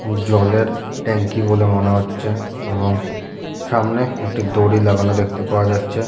উ জলের ট্যাংকি বলে মনে হচ্ছে এবং সামনে একটি দড়ি লাগানো দেখতে পাওয়া যাচ্ছে --